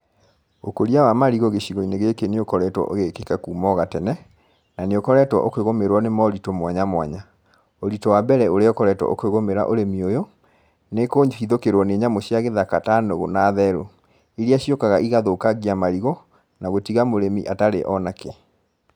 Ũkũria wa marigũ gĩcigo-inĩ gĩkĩ nĩ ũkoretwo ũgĩkĩka kuma o gatene, na nĩ ũkoretwo ũkĩgũmĩrwo nĩ moritũ mwanya mwanya. Ũritũ wa mbere ũrĩa ũkoretwo ũkĩgũmĩra ũrimi ũyũ, nĩ kũhithũkĩrwo nĩ nyamũ cia gĩthaka ta nũgũ na therũ, iria ciũkaga igathũkangia marigũ, na gũtiga mũrĩmi atarĩ o na kĩ.